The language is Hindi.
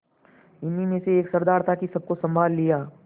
इन्हीं में एक सरदार था कि सबको सँभाल लिया